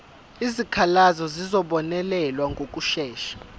izikhalazo zizobonelelwa ngokushesha